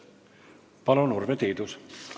Palun, Urve Tiidus!